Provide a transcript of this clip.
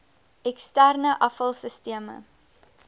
eksterne afval sisteme